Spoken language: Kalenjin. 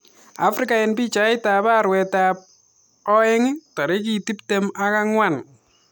Afrika eng pichait arawet ab oeng tarikit tiptem ak angwan